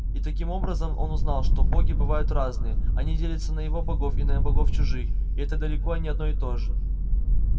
и таким образом он узнал что боги бывают разные они делятся на его богов и на богов чужих и это далеко не одно и то же